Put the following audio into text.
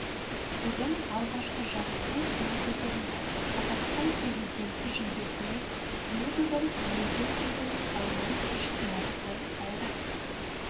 бүгін алғашқы жарыстың туы көтерілді қазақстан президенті жүлдесіне дзюдодан елден келген балуан күш сынасты байрақты